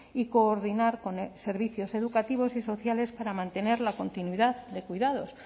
y coordinar con servicios educativos y sociales para mantener la continuidad de cuidados